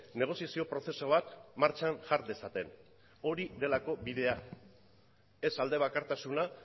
negoziazio prozesu bat martxan jar dezaten hori delako bidea ez aldebakartasuna